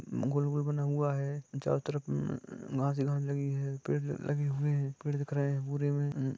गोल -गोल बना हुआ है चारो तरफ मम घास हु घास लगी है पेड़ लगे हुए है पेड दिख रहे है पुरे में।